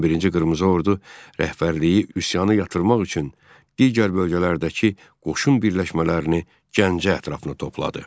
11-ci Qırmızı Ordu rəhbərliyi üsyanı yatırmaq üçün digər bölgələrdəki qoşun birləşmələrini Gəncə ətrafına topladı.